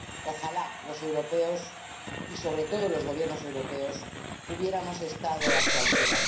Ojalá los europeos y, sobre todo, los Gobiernos europeos hubiéramos estado a su altura.